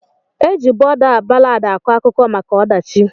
Eji bọda ballad akọ akụkọ maka ọdachi.